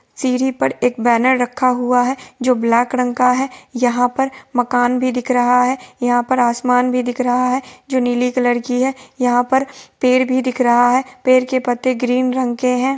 सीढ़ी पर एक बैनर रखा हुआ है जो ब्लैक रंग का है| यहां पर मकान भी दिख रहा है| यहां पर आसमान भी दिख रहा है जो नीली कलर की है| यहाँ पर पेड़ भी दिख रहा है| पेड़ के पत्ते ग्रीन रंग के हैं।